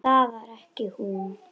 Það var ekki hún.